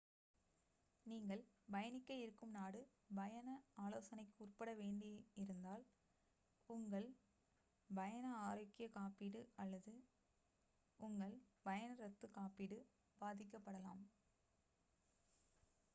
நீங்கள் பயணிக்க இருக்கும் நாடு பயண ஆலோசனைக்கு உட்பட வேண்டியிருந்தால் உங்கள் பயண ஆரோக்கிய காப்பீடு அல்லது உங்கள் பயண ரத்துகாப்பீடு பாதிக்கப்படலாம்